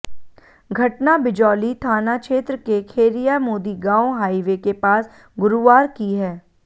घटना बिजौली थाना क्षेत्र के खेरिया मोदी गांव हाइवे के पास गुरुवार की है